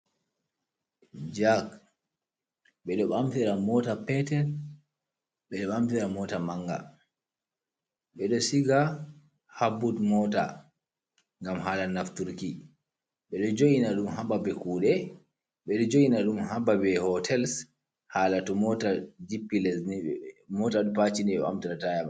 Jaque bedo bamsira mota peter bedo bamfira mota manga bedo shiga habbud mota gam hala nafturki bedo joina dum haba be kude bedo joina dum haba be hotels hala to jippi lesmota hiemt ta.